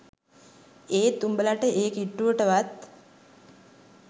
ඒත් උඹලට ඒ කිට්ටුවට වත්